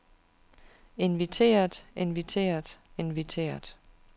inviteret inviteret inviteret